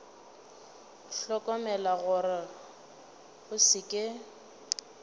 hlokomela gore go se ke